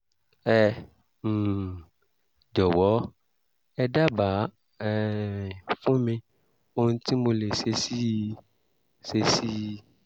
ẹ um jọ̀wọ́ ẹ dábàá um fún mi ohun tí mo lè ṣe sí i ṣe sí i